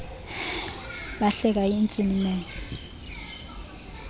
bahleka intsini menyo